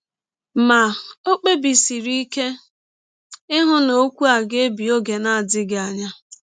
Ma, ọ kpebisiri ike ịhụ na ọkwụ a biri n’ọge na - adịghị anya.